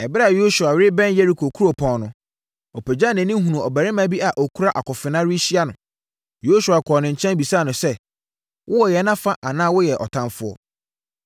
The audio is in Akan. Ɛberɛ a Yosua rebɛn Yeriko kuropɔn no, ɔpagyaa nʼani hunuu ɔbarima bi a ɔkura akofena rehyia no. Yosua kɔɔ ne nkyɛn bisaa no sɛ, “Wowɔ yɛn afa anaa woyɛ ɔtamfoɔ?”